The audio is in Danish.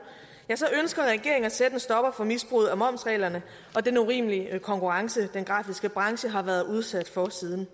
ønsker regeringen at sætte en stopper for misbruget af momsreglerne og den urimelige konkurrence som den grafiske branche har været udsat for siden